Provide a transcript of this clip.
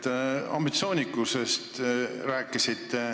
Te rääkisite ambitsioonikusest.